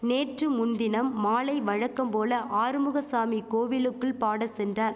நேற்று முன்தினம் மாலை வழக்கம் போல ஆறுமுகசாமி கோவிலுக்குள் பாட சென்றார்